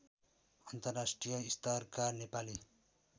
अन्तर्राष्ट्रिय स्तरका नेपाली